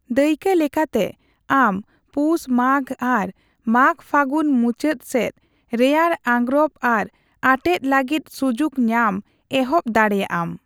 ᱫᱟᱹᱭᱠᱟᱹᱞᱮᱠᱟᱛᱮ, ᱟᱢ ᱯᱩᱥᱼᱢᱟᱜ ᱟᱨ ᱢᱟᱜᱼᱯᱷᱟᱜᱩᱱ ᱢᱩᱪᱟᱹᱫ ᱥᱮᱡ ᱨᱮᱭᱟᱲ ᱟᱸᱜᱨᱚᱯ ᱟᱨ ᱟᱴᱮᱫ ᱞᱟᱹᱜᱤᱫ ᱥᱩᱡᱩᱠ ᱧᱟᱢ ᱮᱦᱚᱵ ᱫᱟᱲᱮᱭᱟᱜᱼᱟᱢ ᱾